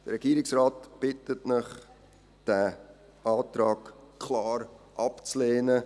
Der Regierungsrat bittet Sie, diesen Antrag klar abzulehnen.